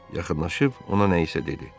Yaxınlaşıb ona nəyisə dedi.